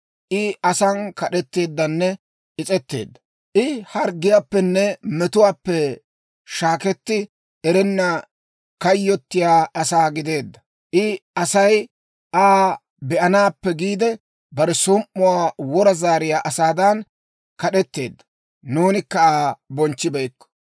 I asan kad'etteeddanne is's'etteedda; I harggiyaappenne metuwaappe shaaketti erenna kayyottiyaa asaa gideedda. I Asay Aa be'anaappe giide, bare som"uwaa wora zaariyaa asaadan kad'etteedda; nuunikka Aa bonchchibeykko.